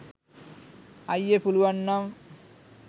අයියේ පුළුවන් නම්